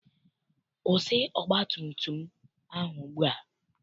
Kwụsị ọgbatumtum ahụ ugbua!